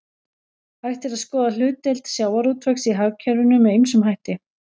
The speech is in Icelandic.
Hægt er að skoða hlutdeild sjávarútvegs í hagkerfinu með ýmsum hætti.